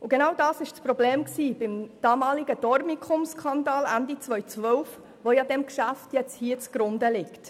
Und genau das war das Problem beim damaligen Dormicum-Skandal Ende 2012, der diesem Geschäft hier zugrunde liegt.